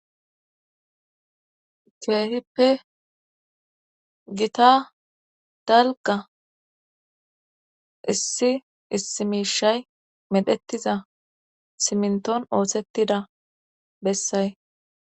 Keehippe gita dalgga issi issi miishay medhettiza simintton oossettida bessay.